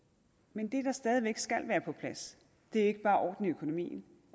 men det der stadig væk skal være på plads er ikke bare orden i økonomien